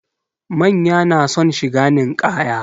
Manya na son shiga ninkaya